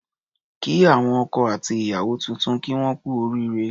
Kí àwọn ọkọ àti ìyàwó tuntun kí wón kú oríre